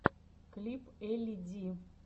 клип элли ди